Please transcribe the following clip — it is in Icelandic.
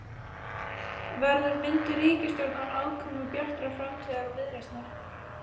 Verður mynduð ríkisstjórn án aðkomu Bjartrar framtíðar og Viðreisnar?